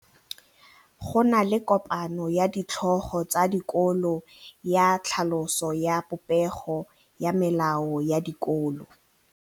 Go na le kopanô ya ditlhogo tsa dikolo ya tlhaloso ya popêgô ya melao ya dikolo.